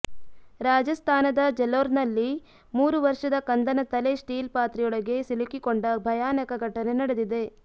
ರಾಜಸ್ಥಾನದ ಜಲೋರ್ನಲ್ಲಿ ಮೂರು ವರ್ಷದ ಕಂದನ ತಲೆ ಸ್ಟೀಲ್ ಪಾತ್ರೆಯೊಳಗೆ ಸಿಲುಕಿಕೊಂಡ ಭಯಾನಕ ಘಟನೆ ನಡೆದಿದೆ